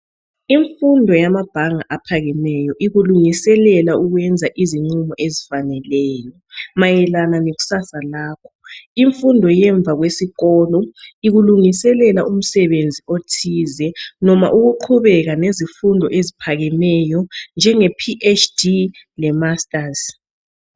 Imfundo yamabhanga aphakemeyo ikulungiselela ukwenza izinqumo ezifaneleyo mayelana lekusasa lakho. Imfundo yemva kwesikolo ikulungiselela umsebenzi othize, noma ukuqhubeka nezifundo eziphakemeyo njenge Phd le masters